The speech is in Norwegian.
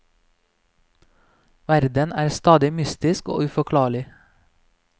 Verden er stadig mystisk og uforklarlig.